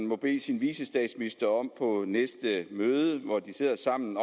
må bede sin vicestatsminister om på næste møde hvor de sidder sammen